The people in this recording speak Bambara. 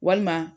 Walima